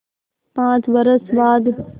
पाँच बरस बाद